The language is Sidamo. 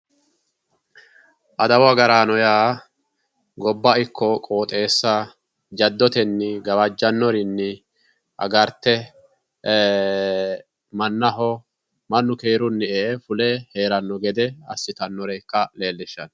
Adawu agaraano yaa gobba ikko qoxeessa jaddotneni gawajjannorinni aagrte mannu keerunni e"e fulanno gede assitannore ikka dandiitanno